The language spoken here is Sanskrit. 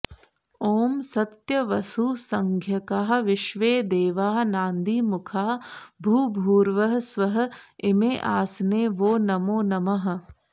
ॐ सत्यवसुसंज्ञकाः विश्वेदेवाः नान्दीमुखाः भूर्भुवः स्वः इमे आसने वो नमो नमः